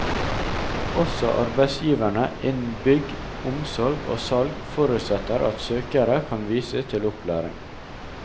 Også arbeidsgiverne innen bygg, omsorg og salg forutsetter at søkere kan vise til opplæring.